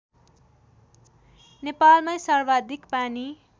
नेपालमै सर्वाधिक पानी